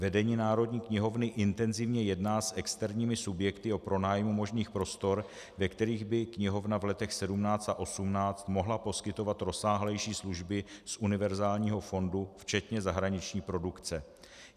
Vedení Národní knihovny intenzivně jedná s externími subjekty o pronájmu možných prostor, ve kterých by knihovna v letech 2017 a 2018 mohla poskytovat rozsáhlejší služby z univerzálního fondu včetně zahraniční produkce.